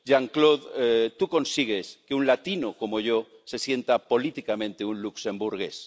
Jean Claude, tú consigues que un latino como yo se sienta políticamente un luxemburgués.